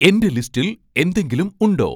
എന്റെ ലിസ്റ്റിൽ എന്തെങ്കിലും ഉണ്ടോ